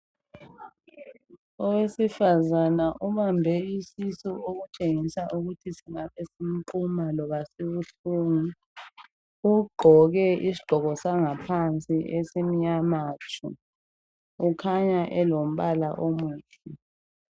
Owesifazana obambe isisu okutshengisa ukuthi singabe simquma loba sibuhlungu ugqoke isigqoko sangaphansi esimnyama tshu ukhanya elombala omuhle.